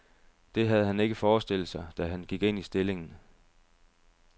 Det havde han ikke forestillet sig, da han gik ind i stillingen.